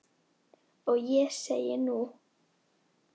Og ég segi, nú?